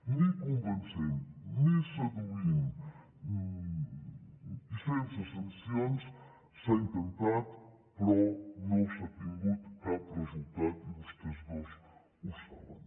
ni convencent ni seduint ni sense sancions s’ha intentat però no s’ha tingut cap resultat i vostès dos ho saben